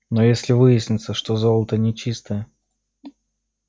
но если выяснится что золото нечистое